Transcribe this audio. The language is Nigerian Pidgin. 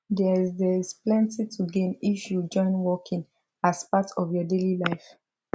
theres theres plenty to gain if you join walking as part of your daily life